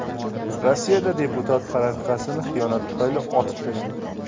Rossiyada deputat rafiqasini xiyonat tufayli otib tashladi.